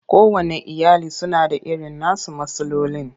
Kowanne iyali suna da irin nasu matsalolin.